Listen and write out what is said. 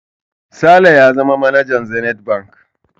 Sale ya zama manajan Zenith Bank.